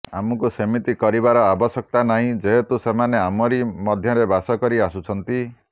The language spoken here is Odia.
ଆମକୁ ସେମିତି କରିବାର ଆବଶ୍ୟକତା ନାହିଁ ଯେହେତୁ ସେମାନେ ଆମରି ମଧ୍ୟରେ ବାସ କରି ଆସୁଛନ୍ତି